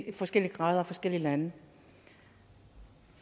i forskellige grader og forskellige lande